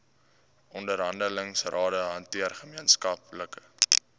onderhandelingsrade hanteer gemeenskaplike